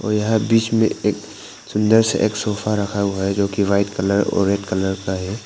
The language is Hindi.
और यहां बीच में एक सुंदर सा एक सोफा रखा हुआ है जो की वाइट कलर और रेड कलर का है।